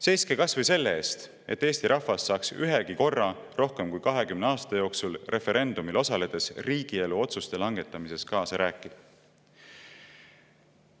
Seiske kas või selle eest, et Eesti rahvas saaks ühegi korra rohkem kui 20 aasta jooksul referendumil osaledes riigielu otsuste langetamises kaasa rääkida.